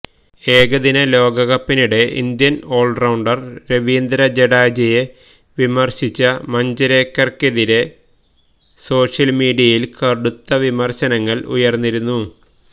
ഏകദിന ലോകകപ്പിനിടെ Indian all rounder Ravindra ജഡേജയെ വിമര്ശിച്ച മഞ്ജരേക്കര്ക്കെതിരേ സോഷ്യല് മീഡിയയില് കടുത്ത വിമര്ശനങ്ങള് ഉയര്ന്നിരുന്നു